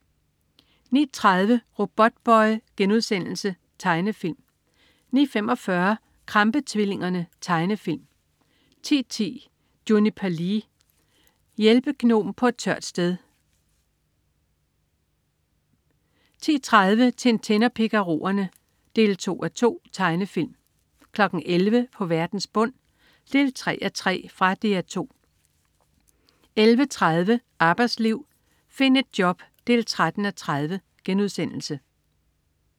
09.30 Robotboy.* Tegnefilm 09.45 Krampe-tvillingerne. Tegnefilm 10.10 Juniper Lee. Hjælpegnom på et tørt sted 10.30 Tintin og Picarorerne 2:2. Tegnefilm 11.00 På verdens bund 3:3. Fra Dr 2 11.30 Arbejdsliv. Find et job 13:30*